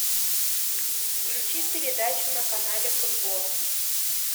включи передачу на канале футбол